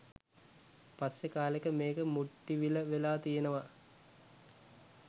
පස්සේ කාලෙක මේක “මුට්ටිවිල“ වෙලා තියෙනවා.